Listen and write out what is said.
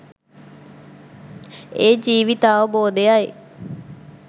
ඒ ජීවිතාවබෝධයයි.